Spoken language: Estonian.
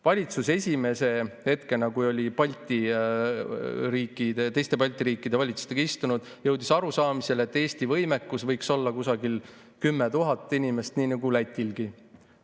Valitsus esimesel hetkel, kui oli teiste Balti riikide valitsustega koos istunud, jõudis arusaamisele, et Eesti võimekus võiks olla kusagil 10 000 inimest nagu Lätilgi.